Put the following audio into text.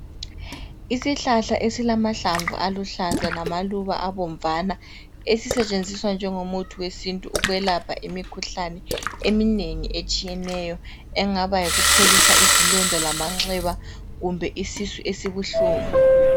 Isihlahla esilamahlamvu aluhlaza lamaluba abomvana esisetshenziswa njengomuthi wesintu ukwelapha imikhuhlane eminengi etshiyeneyo engaba yikupholisa izilonda lamanxeba kumbe isisu esibuhlungu.